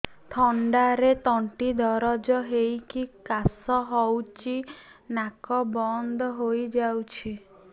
ଥଣ୍ଡାରେ ତଣ୍ଟି ଦରଜ ହେଇକି କାଶ ହଉଚି ନାକ ବନ୍ଦ ହୋଇଯାଉଛି